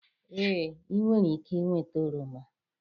Ee, ị nwere ike ịnweta oroma.